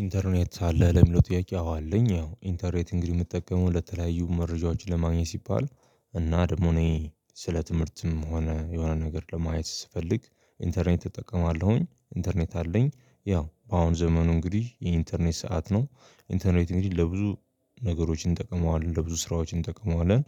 ኢንተርኔት አለህ ለሚለው ትያቄ አዎ አለኝ ያው ኢንተርኔት እንግዲህ የምጠቀመው ለተለያዩ መረጃዎች ለማግኘት ሲባል እና ደግሞ እኔ ስለ ትምህርትም ሆነ የሆነ ነገር ለማየት ስፈልግ ኢንተርኔት እጠቀማለሁኝ፣ ኢንተርኔት አለኝ፣ ያው አሁኑ ዘመኑ እንግዲህ የኢንተርኔት ሰዓት ነው። ኢንተርኔት እንግዲህ ለብዙ ነገሮች እንጠቀመዋለን፣ ለብዙ ስራዎች እንጠቅመዋለን፣